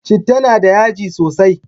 Citta na da yaji sosai